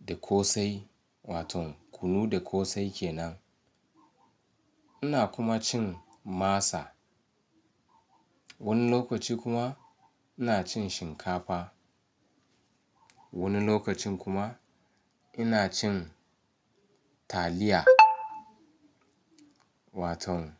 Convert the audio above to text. da ƙosai wato kunu da ƙosai kenan. Ina kuma cin masa. Wani lokaci kuma ina cin shinkafa. Wani lokacin kuma ina cin taliya wato.